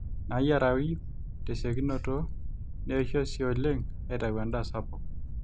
naayiarayu tesiokinoto neisho sii oleng aaitau endaa sapuk